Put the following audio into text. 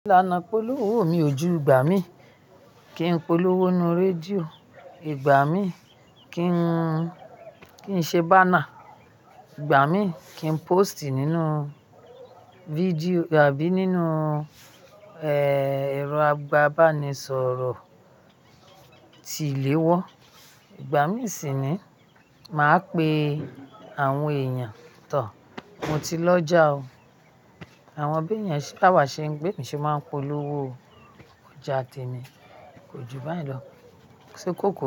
Ìlànà ìpolówó mi ojú gbà mí kí n polówó nú rédíò, ìgbà mí kí n kí n ṣe báńà, ìgbà mí kí n pósìtì nínú fídíò àbí nínú, ẹ̀rọ agbábánisọ̀rọ̀ tí ìléwọ́. Ìgbà mí sì ni màá pe àwọn èèyàn tọ̀, mo ti lọ já o. Àwọn beyẹn se báwà, ṣe be mi ṣe máa ń polówó o. Ójá tẹmi, ko ju báyìí lọ. Ṣe kó kú.